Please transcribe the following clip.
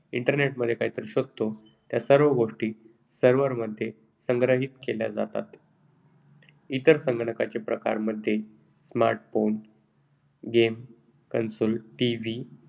Internet मध्ये काहीतरी शोधतो, त्या सर्व गोष्टी servers मध्ये संग्रहित केल्या जातात. इतर प्रकारचे संगणक smartphone game console TV TV